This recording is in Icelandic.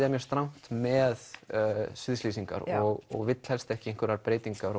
er mjög strangt með og vill helst ekki einhverjar breytingar